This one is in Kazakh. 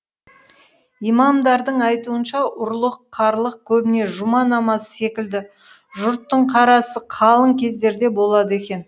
имамдардың айтуынша ұрлық қарлық көбіне жұма намазы секілді жұрттың қарасы қалың кездерде болады екен